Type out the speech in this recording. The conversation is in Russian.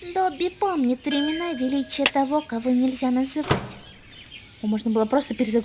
добби помнит времена величия того-кого-нельзя-называть